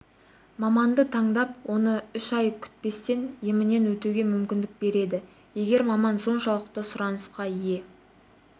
маманды таңдап оны үш ай күтпестен емінен өтуге мүмкіндік береді егер маман соншалықты сұранысқа ие